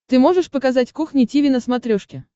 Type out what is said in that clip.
ты можешь показать кухня тиви на смотрешке